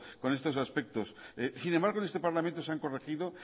con estos aspectos sin embargo en este parlamento se han corregido